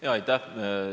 Jaa, aitäh!